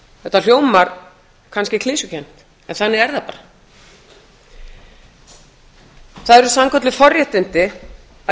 þetta hljómar kannski klisjukennt en þannig er það bara það eru sannkölluð forréttindi að